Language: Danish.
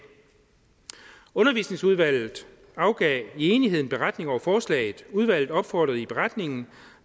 undervisningsudvalget afgav i enighed en beretning over forslaget udvalget opfordrer i beretningen